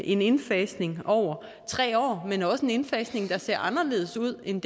en indfasning over tre år men også en indfasning der ser anderledes ud end